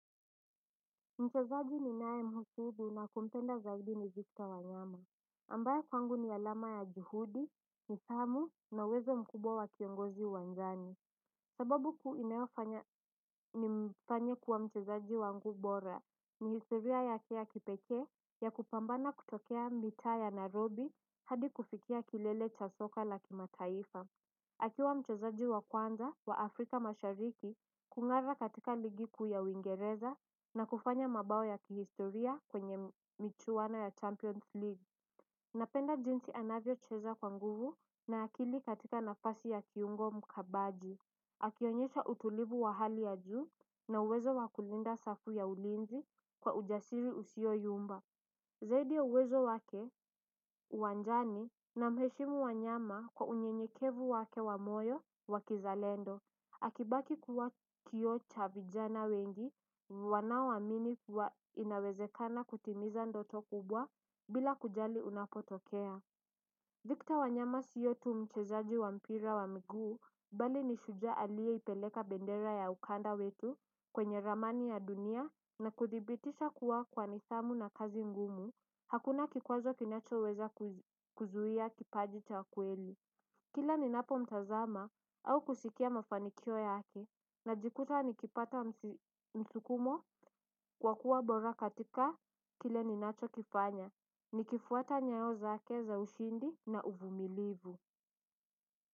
Mchezaji ninayemhisidi na kumpenda zaidi ni victor wanyama ambaye kwangu ni alama ya juhudi, nidhamu na uwezo mkubwa wa kiongozi uwanjani. Sababu kuu inayofanya ni mfanye kuwa mchezaji wangu bora. Ni historia yake ya kipekee, ya kupambana kutokea mitaa ya nairobi. Hadi kufikia kilele cha soka la kimataifa akiwa mchezaji wa kwanza wa Afrika mashariki kungara katika ligi kuu ya uingereza na kufanya mabao ya kihistoria kwenye michuwaona ya Champions League. Napenda jinsi anavyocheza kwa nguvu na akili katika nafasi ya kiungo mkabaji. Akionyesha utulivu wa hali ya juu na uwezo wa kulinda safu ya ulinzi kwa ujasiri usioyumba. Zaidi ya uwezo wake, uwanjani namheshimu wanyama kwa unyenyekevu wake wa moyo wa kizalendo. Akibaki kuwa kioo cha vijana wengi, wanaoamini kuwa inawezekana kutimiza ndoto kubwa bila kujali unapotokea. Victor wanyama sio tu mchezaji wa mpira wa miguu, bali ni shujaa aliyeipeleka bendera ya ukanda wetu kwenye ramani ya dunia na kuthibitisha kuwa kwa nidhamu na kazi ngumu, hakuna kikwazo kinachoweza kuzuia kipaji cha kweli. Kila ninapo mtazama au kusikia mafanikio yake najikuta nikipata msukumo wa kuwa bora katika kile ninacho kifanya nikifuata nyayo zake za ushindi na uvumilivu.